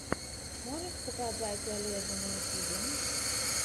можешь показать олежэ на ютюбе